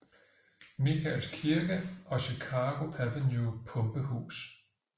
Michaels Kirke og Chicago Avenue pumpehus